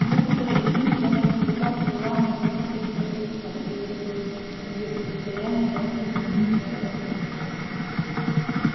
некоторые из них даже испытали желание выступить с протестом если бы они были в состоянии найти убедительные аргументы